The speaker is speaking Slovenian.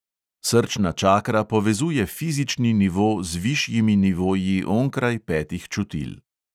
Srčna čakra povezuje fizični nivo z višjimi nivoji onkraj petih čutil.